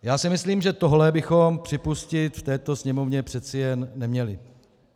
Já si myslím, že tohle bychom připustit v této Sněmovně přeci jen neměli.